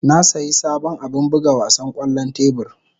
Na sayi sabon abin buga wasan kwallon tebur.